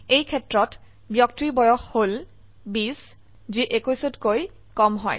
এইক্ষেত্ৰত ব্যক্তিৰ বয়স হল 20 যি 21 কৈ কম হয়